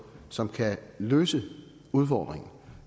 som kan løse udfordringen